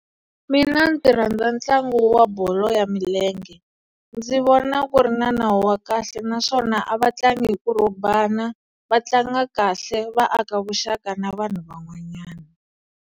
Mina ndzi rhandza ntlangu wa bolo ya milenge ndzi vona ku ri na nawu wa kahle naswona a va tlangi hi Ku robhana va tlanga kahle va aka vuxaka na vanhu van'wanyana.